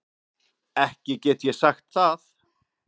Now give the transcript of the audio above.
Ekki get ég sagt það.